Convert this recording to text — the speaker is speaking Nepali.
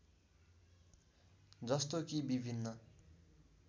जस्तो कि विभिन्न